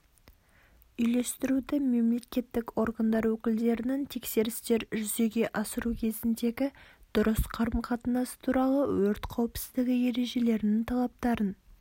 үйлестіруді мемлекеттік органдар өкілдерінің тексерістер жүзеге асыру кезіндегі дұрыс қарым-қатынас туралы өрт қауіпсіздігі ережелерінің талаптарын